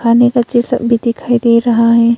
खाने का चीज सब भी दिखाई दे रहा है।